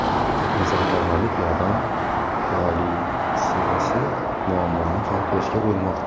Insonparvarlik yordam koalitsiyasi muammoni hal qilishga urinmoqda.